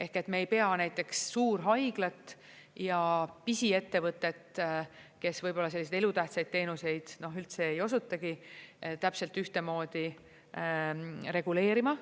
Ehk me ei pea näiteks suurhaiglat ja pisiettevõtet, kes võib-olla selliseid elutähtsaid teenuseid üldse ei osutatagi, täpselt ühtemoodi reguleerima.